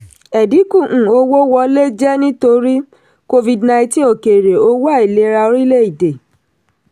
ẹ̀dínkù um owó wọlé jẹ́ nítorí covid- nineteen òkèèrè owó àìlera orílẹ̀-èdè.